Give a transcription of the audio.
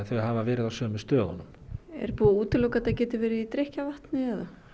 þau hafa verið á sömu stöðunum er búið að útiloka að þetta geti verið í drykkjarvatni